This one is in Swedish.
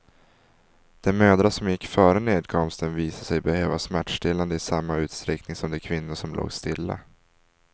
De mödrar som gick före nedkomsten visade sig behöva smärtstillande i samma utsträckning som de kvinnor som låg stilla.